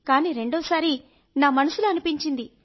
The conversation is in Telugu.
కానీ రెండోసారి నా మనసులో అనిపించింది